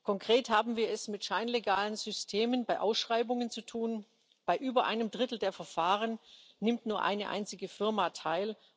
Konkret haben wir es mit scheinlegalen Systemen bei Ausschreibungen zu tun Bei über einem Drittel der Verfahren nimmt nur eine einzige Firma teil.